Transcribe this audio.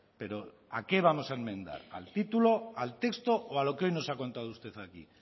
pero a qué vamos a enmendar al título al texto o a lo que hoy nos ha contado usted aquí